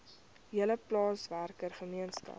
hele plaaswerker gemeenskap